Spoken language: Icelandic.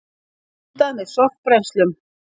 Fundað með sorpbrennslum